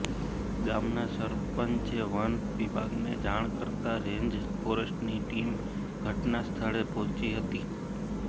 ગામના સરપંચે વન વિભાગને જાણ કરતા રેન્જ ફોરેસ્ટની ટીમ ઘટના સ્થળે પહોંચી હતી